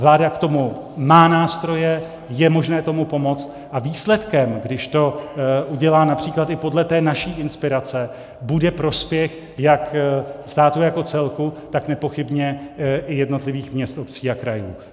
Vláda k tomu má nástroje, je možné tomu pomoct a výsledkem, když to udělá například i podle té naší inspirace, bude prospěch jak státu jako celku, tak nepochybně i jednotlivých měst, obcí a krajů.